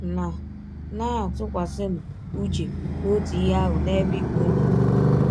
Na Na - atụkwasịnụ ụche n’ọtụ ihe ahụ n’ebe ibe ụnụ nọ. ”